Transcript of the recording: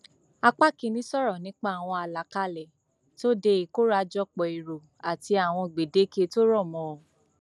apá kìínní sọrọ nípa àwọn alákálẹ tó dé ìkórajòpó èrò àti àwọn gbèdéke tó rọ mọ ọn